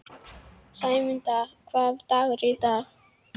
Sæmunda, hvaða dagur er í dag?